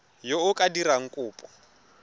yo o ka dirang kopo